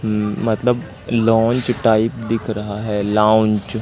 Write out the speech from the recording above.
अम मतलब launch type दिख रहा हैं लॉउन्च --